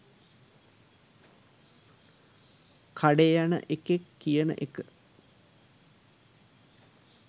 කඩේ යන එකෙක් කියන එක